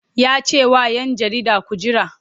Ya ce wa ‘yan jarida ku jira!